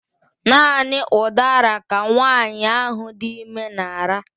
Naanị udara ka nwanyị ahụ dị ime na-ara.